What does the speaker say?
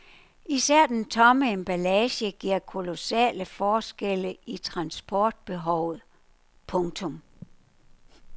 Især den tomme emballage giver kolossale forskelle i transportbehovet. punktum